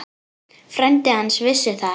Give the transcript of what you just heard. Frændi hans vissi það ekki.